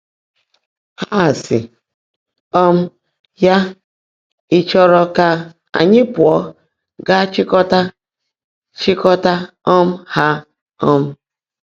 Há ásị́ um yá, ‘Ị̀ chọ́ọ́ró kà ányị́ pụ́ọ́ gáá chị́kọ́tá chị́kọ́tá um há? um